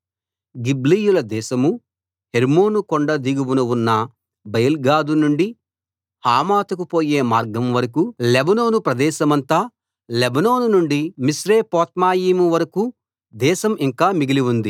గిబ్లీయుల దేశమూ హెర్మోను కొండ దిగువన ఉన్న బయల్గాదు నుండి హమాతుకు పోయే మార్గం వరకూ లెబానోను ప్రదేశమంతా లెబానోను నుండి మిశ్రేపొత్మాయిము వరకూ దేశం ఇంకా మిగిలి ఉంది